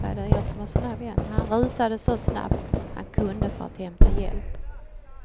Han rusade så snabbt han kunde för att hämta hjälp.